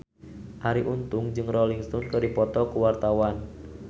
Arie Untung jeung Rolling Stone keur dipoto ku wartawan